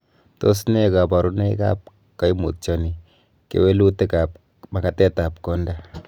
Tos nee koburonoikab koimutioni kewelutietab makatetab konda?